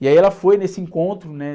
E aí ela foi nesse encontro, né?